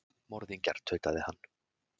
Morðingjar, tautaði hann.